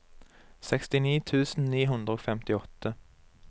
sekstini tusen ni hundre og femtiåtte